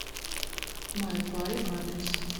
май пай адрес